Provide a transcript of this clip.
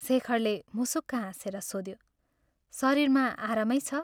शेखरले मुसुक्क हाँसेर सोध्यो " शरीरमा आरामै छ?